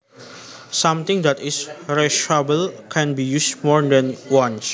Something that is reusable can be used more than once